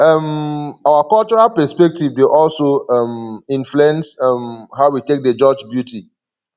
um our cultural perspective dey also um influence um how we take dey judge beauty